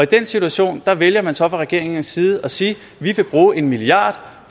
den situation vælger man så fra regeringens side at sige vi vil bruge en milliard